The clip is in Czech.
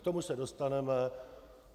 K tomu se dostaneme.